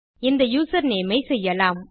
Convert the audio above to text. இந்த யூசர்நேம் ஐ செய்யலாம்